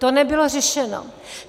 To nebylo řešeno.